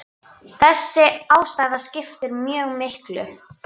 Þessi ástæða skiptir mjög miklu.